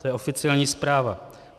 To je oficiální zpráva.